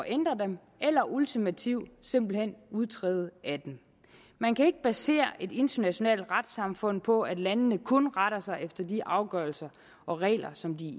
ændre dem eller ultimativt simpelt hen udtræde af dem man kan ikke basere et internationalt retssamfund på at landene kun retter sig efter de afgørelser og regler som de